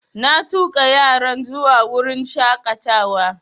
Na tuƙa yaran zuwa wurin shaƙatawa